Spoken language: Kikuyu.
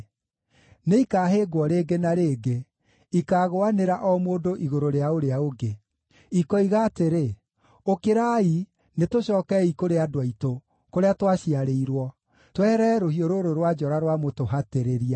Nĩikahĩngwo rĩngĩ na rĩngĩ; ikaagũanĩra o mũndũ igũrũ rĩa ũrĩa ũngĩ. Ikoiga atĩrĩ, ‘Ũkĩrai, nĩtũcookei kũrĩ andũ aitũ, kũrĩa twaciarĩirwo, tweherere rũhiũ rũrũ rwa njora rwa mũtũhatĩrĩria.’